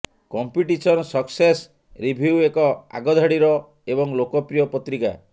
competition success review ଏକ ଆଗଧାଡିର ଏବଂ ଲୋକପ୍ରିୟ ପତ୍ରିକା